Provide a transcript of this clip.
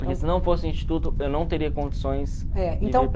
Porque se não fosse o Instituto, eu não teria condições